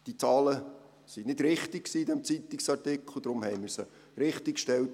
Diese Zahlen waren nicht richtig in diesem Zeitungsartikel, darum haben wir sie richtiggestellt.